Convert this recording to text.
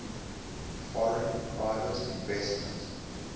foreign private investment